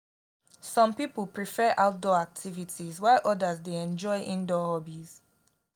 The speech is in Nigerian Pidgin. some people prefer outdoor activities while others dey enjoy indoor hobbies.